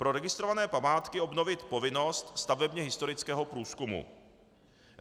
pro registrované památky obnovit povinnost stavebně historického průzkumu;